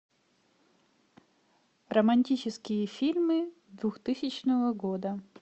романтические фильмы двух тысячного года